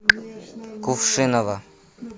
кувшиново